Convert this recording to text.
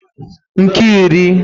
nke iri